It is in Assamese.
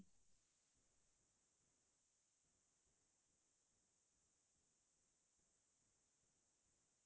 কেনেকুৱা ধৰণৰ মানে যিবোৰ মানে আমাৰ বাস্তৱ জীৱনৰ লগত মিল থাকে